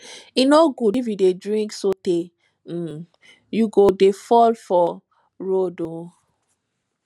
e no good if you dey drink sotee um you go dey fall for um road um